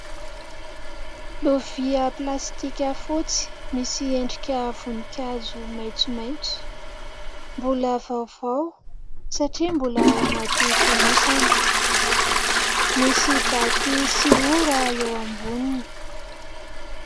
Lovia plastika fotsy misy endrika voninkazo maitsomaitso. Mbola vaovao satria mbola ao anaty fonosana. Misy daty sy ora eo amboniny.